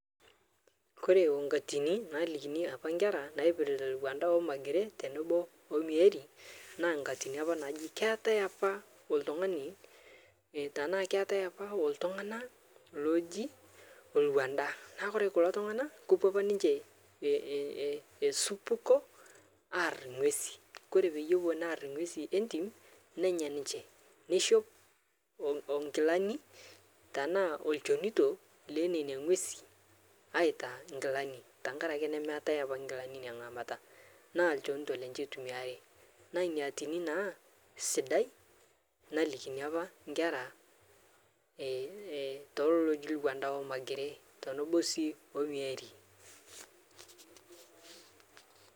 Kore onkatini nalikini apa nkera naipiritaa Lwanda Magere tenebo o Omieri naa nkatini najii keatai apaa oltung'anii tanaa keatai apaa oltung'anaa lojii Lwanda naa Kore kuloo tung'ana kopuo apaa ninshee ee esupukoo aar ng'wezi Kore peyie epuo naar ng'wezi entim nenya ninshee neishop onkilanii tanaa olchonitoo lenenia ng'wezii aitaa nkilani tankarakee nemeatai apaa nkilani inia ng'amata naa lchonitoo lenche eitumiari naa inia atinii naa sidai nalikini apa nkera eeh teleloo ojii Lwanda Magere tenebo sii o Omieri.